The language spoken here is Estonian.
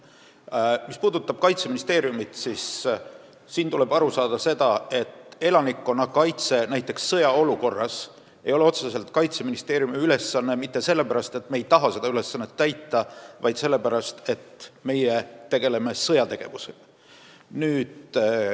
Mis puudutab Kaitseministeeriumi, siis tuleb aru saada, et elanikkonnakaitse sõjaolukorras ei ole otseselt Kaitseministeeriumi ülesanne mitte sellepärast, et me ei taha seda ülesannet täita, vaid sellepärast, et meie tegeleme sõjategevusega.